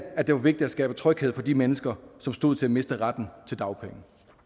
at det var vigtigt at skabe tryghed for de mennesker som stod til at miste retten til dagpenge